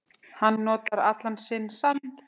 Hann notar allan sinn sann